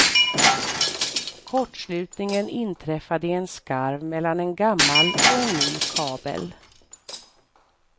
Kortslutningen inträffade i en skarv mellan en gammal och en ny kabel.